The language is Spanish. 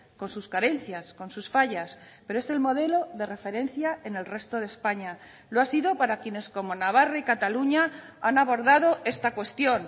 con sus carencias con sus fallas pero es el modelo de referencia en el resto de españa lo ha sido para quienes como navarra y cataluña han abordado esta cuestión